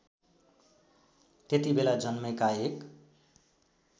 त्यतिबेला जन्मेका एक